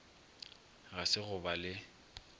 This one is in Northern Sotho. ga se go ba le